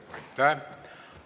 Aitäh!